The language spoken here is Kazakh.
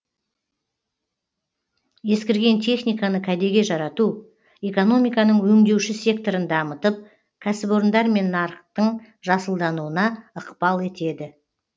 ескірген техниканы кәдеге жарату экономиканың өңдеуші секторын дамытып кәсіпорындар мен нарықтың жасылдануына ықпал етеді